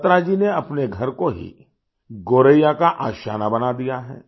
बत्रा जी ने अपने घर को ही गोरैया का आशियाना बना दिया है